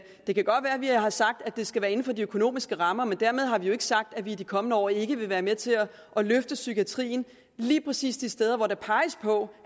det kan godt være at vi har sagt at det skal være inden for de økonomiske rammer men dermed har vi jo ikke sagt at vi i de kommende år ikke vil være med til at løfte psykiatrien lige præcis de steder der peges på